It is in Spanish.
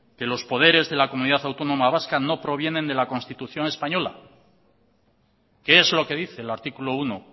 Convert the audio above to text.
que los poderes de la comunidad autónoma vasca no provienen de la constitución española que es lo que dice el artículo uno